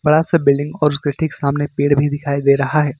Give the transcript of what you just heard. बड़ा सा बिल्डिंग और उसके ठीक सामने पेड़ भी दिखाई दे रहा है।